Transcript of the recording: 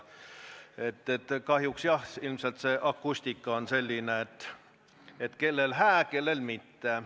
Kahjuks, jah, ilmselt siinne akustika on selline, et kellele hää, kellele mitte.